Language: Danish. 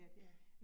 Ja